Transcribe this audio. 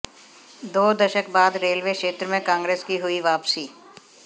दो दशक बाद रेलवे क्षेत्र में कांग्रेस की हुई वापसी